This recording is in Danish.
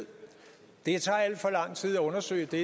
det tager alt for lang tid at undersøge det